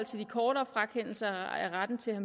til de kortere frakendelser af retten til at